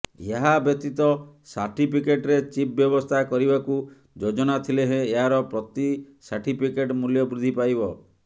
ଏହାବ୍ୟତୀତ ସାର୍ଟିଫିକେଟରେ ଚିଫ୍ ବ୍ୟବସ୍ଥା କରିବାକୁ ଯୋଜନା ଥିଲେ ହେଁ ଏହାର ପ୍ରତି ସାର୍ଟିଫିକେଟ୍ ମୁଲ୍ୟ ବୃଦ୍ଧି ପାଇବ